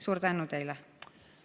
Suur tänu teile!